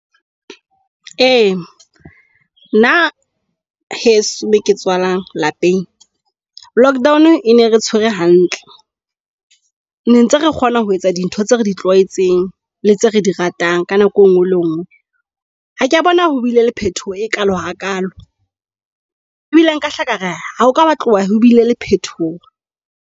Ee, bna heso moke tswalang lapeng lockdown e ne re tshwere hantle ne ntse re kgona ho etsa dintho tse re di tlwaetseng le tse re di ratang ka nako engwe le ngwe. Ha kea bona ho bile le phetoho e kalo ha kalo e bile nkahla kare ha ho ka ba tloha ho bile le phetoho.